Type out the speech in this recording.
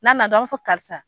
N'a na dɔrɔn an b'a fɔ karisa